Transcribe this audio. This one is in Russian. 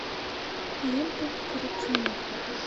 лента коррупционер